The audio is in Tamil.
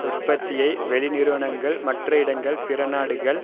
உற்பத்தியை வெளி நிறுவனங்கள் மற்ற இடங்கள் பிற நாடுகள்